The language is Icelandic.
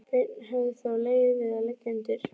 Beinna hefði þó legið við að leggja undir sig